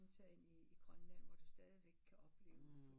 Og tag ind i Grønland hvor det stadigvæk kan opleves